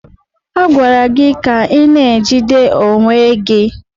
A gwara gị ka ị na-ejide onwe gị!